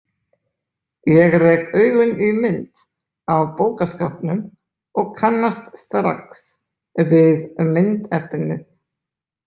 Ég rek augun í mynd á bókaskápnum og kannast strax við myndefnið.